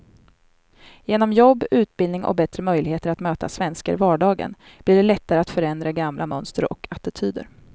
Genom jobb, utbildning och bättre möjligheter att möta svenskar i vardagen blir det lättare att förändra gamla mönster och attityder.